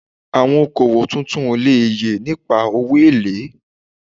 Awon oko owo tuntun o le ye nipa owo ele